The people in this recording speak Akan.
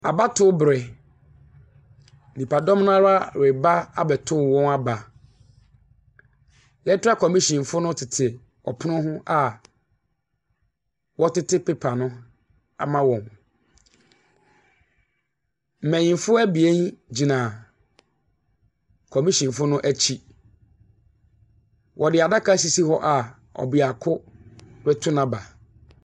Abatowbere, nnipadɔm no ara reba abɛtow wɔn aba. Electoral kɔmishyinfo no tete ɔpono no ho a wɔtete pepa no ama wɔn. Mmanyimfo abien gyina kɔmihyinfo no akyi. Wɔde adaka asisi hɔ a ɔbeako retow n'aba.